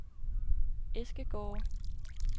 Eskegårde